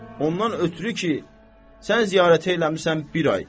Ondan ötrü ki, sən ziyarət eləmisən bir ay.